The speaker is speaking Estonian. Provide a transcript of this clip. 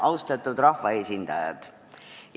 Austatud rahvaesindajad!